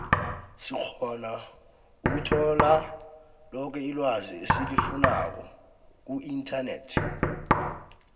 sikgona ukuthola loke ilwazi esilifunako kuinternet